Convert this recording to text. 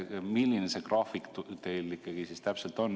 Milline see graafik teil ikkagi täpselt on?